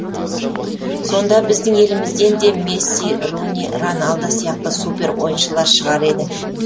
сонда біздің елімізден де месси руни рональдо сияқты супер ойыншылар шығар еді